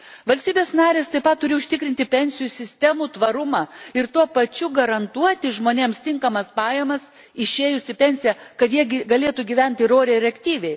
Valstybės narės taip pat turi užtikrinti pensijų sistemų tvarumą ir tuo pačiu garantuoti žmonėms tinkamas pajamas išėjus į pensiją, kad jie galėtų gyventi ir oriai, ir aktyviai.